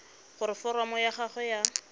gore foromo ya gago ya